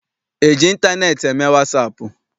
E ji ịntaneetị eme wasaapụ?